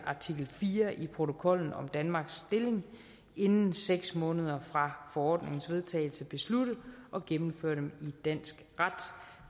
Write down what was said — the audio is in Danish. artikel fire i protokollen om danmarks stilling inden seks måneder fra forordningernes vedtagelse beslutte at gennemføre dem i dansk ret